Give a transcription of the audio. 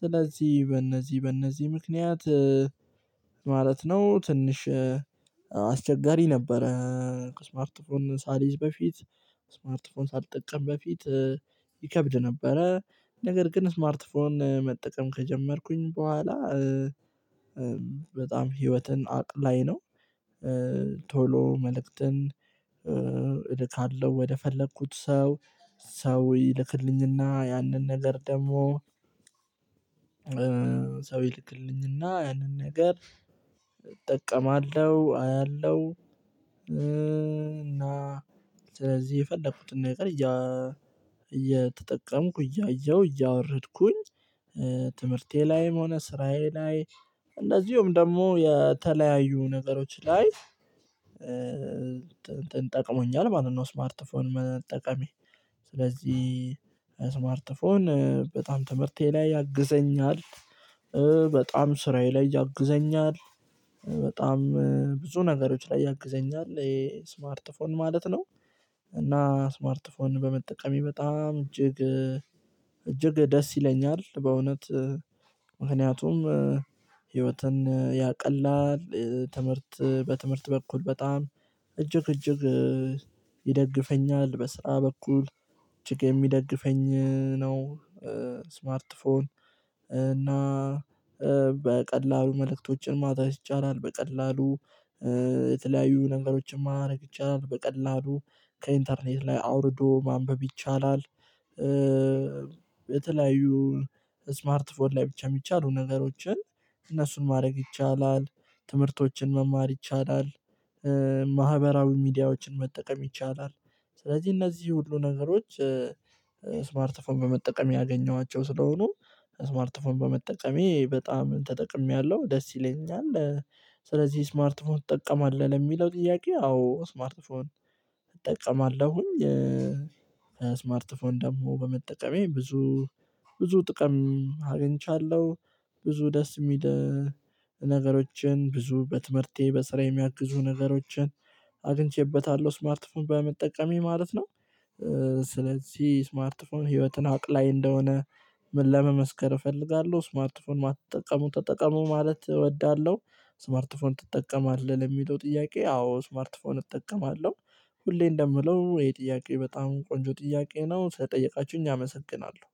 ስለዚህ በእነዚህ በእነዚህ ምክንያት ማለት ነው ትንሽ አስቸጋሪ ነበረ። ስማርት ፎን ሳልይዝ በፊት ስማርት ፎን ሳልጠቅም በፊት ይከብድ ነበረ። ነገር ግን ስማርት ፎን መጠቀም ከጀመርኩኝ በኋላ በጣም ህይወትን አቅላይ ነው። ቶሎ መልእክትን እልካለሁ ወደ ፈለኩት ሰው ይልክልኝና ያንን ነገር ደግሞ ሰው ይልክልኝና ያንን ነገር እጠቀማለሁ አያለሁ። እና ስለዚህ የፈለኩትን ነገር እየ እየተጠቀምኩ እያየሁ እያወረድኩኝ ትምህርቴ ላይም ሆነ ስራዬ ላይ እንደዚሁም ደግሞ የተለያዩ ነገሮች ላይ እንትን ጠቅሞኛል ማለት ነው ስማርት ፎን መጠቀሜ። ስለዚህ ስማርት ፎን በጣም ትምህርቴ ላይ ያግዘኛል። በጣም ስራዬ ላይ ያግዘኛል በጣም ብዙ ነገሮች ላይ ያግዘኛል ይሄ ስማርት ፎን ማለት ነው። እና ስማርት ስማርት በመጠቀሜ በጣም እጅግ እጅግ ደስ ይለኛል። በእውነት ምክንያቱም ህይወትን ያቀላል ትምህርት በትምህርት በኩል በጣም እጅግ እጅግ ይደግፈኛል በስራ በኩል እጅግ የሚደግፈኝ ነው። ስማርት ፎን እና በቀላሉ መልእክቶችን ማድረስ ይቻላል በቀላሉ የተለያዩ ነገሮችን ማድረግ ይቻላል በቀላሉ ከኢንተርኔት ላይ አውርዶ ማንበብ ይቻላል። በተለያዩ ስማርት ፎን ላይ ብቻ የሚቻሉ ነገሮችን እነሱን ማድረግ ይቻላል ትምህርቶችን መማር ይቻላል። ማህበራዊ ሚዲያዎችን መጠቀም ይቻላል ስለዚህ እነዚህ ሁሉ ነገሮች ስማርት ፎን በመጠቀም ያገኟቸው ስለሆኑ ስማርት ፎን በመጠቀሜ በጣም ተጠቅሜያለሁ ደስ ይለኛል። ስለዚህ ስማርት ትጠቀማለህ ለሚለው ጥያቄ አዎ ስማርት ፎን እጠቀማለሁኝ። ስማርት ፎን ደግሞ በመጠቀሜ ብዙ ብዙ ጥቅም አግኝቻለሁ። ብዙ ደስ የሚል ነገሮችን ብዙ በትምህርቴ በስራ የሚያግዙ ነገሮችን አግኝቼበታለሁ ስማርት ፎን በመጠቀሜ ማለት ነው። ስለዚህ ስማርት ፎን ህይወትን አቅላይ እንደሆነ ምን ለመመስከር እፈልጋለሁ ስማርትፎን የማትጠቀሙ ተጠቀሙ ማለት እወዳለሁ። ስማርትፎን ትጠቀማለህ ለሚለው ጥያቄ አዎ ስማርትፎን እጠቀማለሁ። ሁሌ እንደምለው ይሄ ጥያቄ በጣም ቆንጆ ጥያቄ ነው ስለጠይቃችሁኝ አመሰግናለሁ።